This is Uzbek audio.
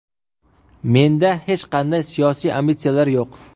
Menda hech qanday siyosiy ambitsiyalar yo‘q.